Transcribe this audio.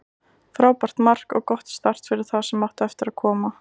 Frábært mark og gott start fyrir það sem eftir átti að koma.